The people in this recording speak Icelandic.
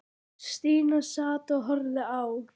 Stína sat og horfði á.